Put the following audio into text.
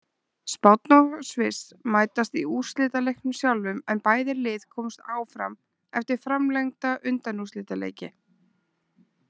Spánn og Sviss mætast í úrslitaleiknum sjálfum en bæði lið komust áfram eftir framlengda undanúrslitaleiki.